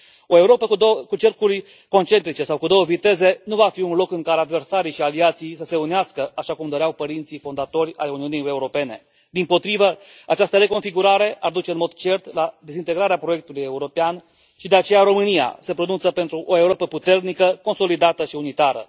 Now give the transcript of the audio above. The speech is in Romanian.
O Europă cu cercuri concentrice sau cu două viteze nu va fi un loc în care adversarii și aliații să se unească așa cum doreau părinții fondatori ai Uniunii Europene, dimpotrivă, această reconfigurare ar duce în mod cert la dezintegrarea proiectului european și de aceea România se pronunță pentru o Europă puternică, consolidată și unitară.